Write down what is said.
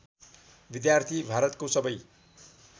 विद्यार्थी भारतको सबै